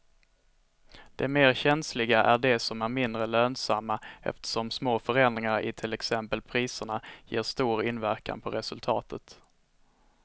De mer känsliga är de som är mindre lönsamma eftersom små förändringar i till exempel priserna ger stor inverkan på resultatet.